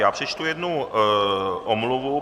Já přečtu jednu omluvu.